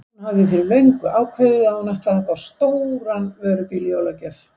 Hún hafði fyrir löngu ákveðið að hún ætlaði að fá stóran vörubíl í jólagjöf.